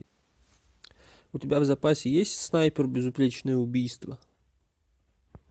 у тебя в запасе есть снайпер безупречное убийство